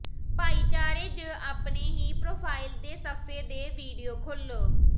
ਭਾਈਚਾਰੇ ਜ ਆਪਣੇ ਹੀ ਪਰੋਫਾਈਲ ਦੇ ਸਫ਼ੇ ਦੇ ਵੀਡੀਓ ਖੋਲ੍ਹੋ